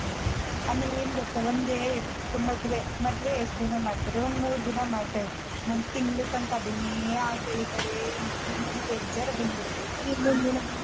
ಆಮೇಲ್ ಏನ್ ಗೊತ್ತಾ ಒಂದೇ ಮದ್ವೆ ಮದ್ವೆ ಎಷ್ಟ್ ದಿನ ಮಾಡ್ತಾರೆ ಒಂದ್ ಮೂರ್ ದಿನ ಮಾಡ್ತಾರೆ ಒಂದ್ ತಿಂಗ್ಳ್ ತನಕ ಅದನ್ನೇ ಹಾಕ್ ಎಳೀತಾರೆ ನೋಡಿ ನೋಡಿ ಬೇಜಾರು ಬಂದ್ಬಿಡುತ್ತೇ ಕಣೆ.